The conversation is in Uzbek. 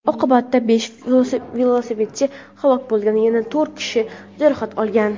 Oqibatda besh velosipedchi halok bo‘lgan va yana to‘rt kishi jarohat olgan.